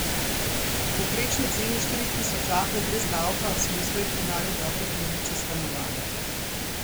Po povprečni ceni štirih tisočakov brez davka so doslej prodali dobro polovico stanovanj.